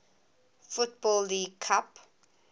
football league cup